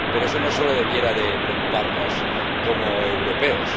Pero eso no solo debiera de preocuparnos como europeos